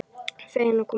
Feginn að koma heim.